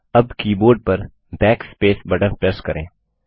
अब कीबोर्ड पर Backspace button press करें